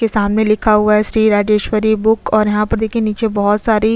इसके सामने लिखा हुआ है राजेश्वरी बुक और यहाँ पर देखिये बहोत सारी--